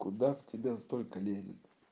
куда в тебя столько лезет